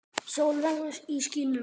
Sól veður í skýjum.